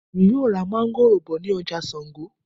Èmi yóò ra máńgòrò bọ̀ ní ọjà Sango